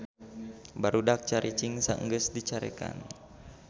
Barudak caricing saenggeus dicarekan